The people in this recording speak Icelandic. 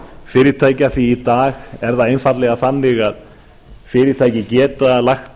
fyrirtækja því í dag er það einfaldlega þannig að fyrirtæki geta lagt